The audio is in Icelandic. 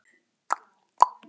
Er þetta rétt hjá honum?